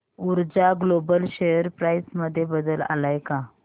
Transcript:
ऊर्जा global share price मध्ये बदल आलाय का